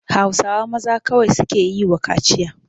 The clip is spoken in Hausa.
Hausawa maza kawai suke yi wa kaciya.